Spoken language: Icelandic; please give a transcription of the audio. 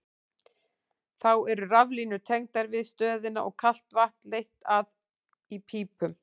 Þá eru raflínur tengdar við stöðina og kalt vatn leitt að í pípum.